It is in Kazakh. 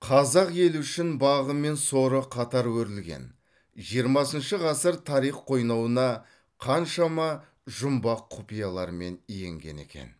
қазақ елі үшін бағы мен соры қатар өрілген жиырмасыншы ғасыр тарих қойнауына қаншама жұмбақ құпияларымен енген екен